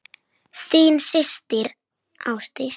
Þín systir, Ásdís.